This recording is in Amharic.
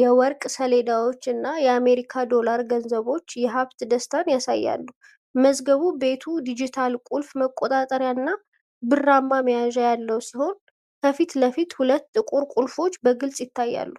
የወርቅ ሰሌዳዎችና የአሜሪካ ዶላር ገንዘቦች የሀብት ደስታን ያሳያሉ። መዝገብ ቤቱ ዲጂታል ቁልፍ መቆጣጠሪያና ብርማ መያዣ ያለው ሲሆን፣ ከፊት ለፊት ሁለት ጥቁር ቁልፎች በግልጽ ይታያሉ።